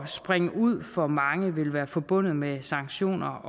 springe ud for manges vedkommende vil være forbundet med sanktioner